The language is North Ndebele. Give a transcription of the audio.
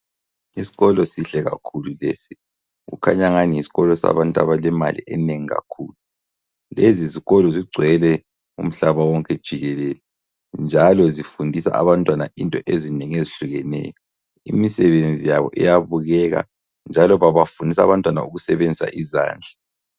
Isikolo sihle kakhulu lesi kukhanya engani yisikolo sabantu abalemali enengi kakhulu. Lezizikolo zigcwele umhlaba wonke jikelele njalo zifundisa abantwana into ezinengi ezihlukeneyo imisebenzi yabo iyabukeka njalo babafundisa abantwana ngokusebenzisa izandla.